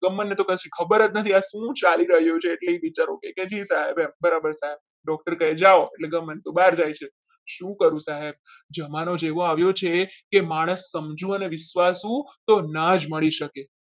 ગમન ને તો કશી ખબર જ નથી આ શું ચાલી રહ્યું છે એ કે બિચારો જી સાહેબ બરાબર doctor કહે જાવ ગમન તો બહાર જાય છે શું કરું સાહેબ જમાનો જ એવો આવ્યો છે કે માણસ સમજુ અને વિશ્વાસુ તો ના જ મળી શકે.